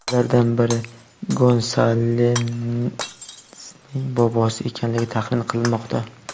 Ulardan biri Gonsalesning bobosi ekanligi taxmin qilinmoqda.